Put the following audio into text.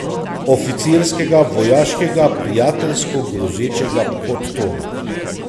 Oficirskega, vojaškega, prijateljsko grozečega podtona.